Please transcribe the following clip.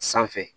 Sanfɛ